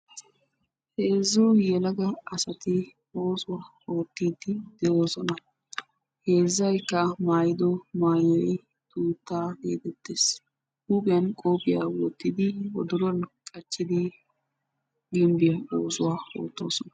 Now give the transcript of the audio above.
Heezzu yelaga asati oosuwaa oottiidi de'oosona. heezzaykka maayido mayoy hiittaa geetettees. huuphphiyaa qophphiyaa wottidi wodoruwaa qachchidi gimbbiyaa oosuwaa oottoosona.